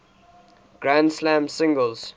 grand slam singles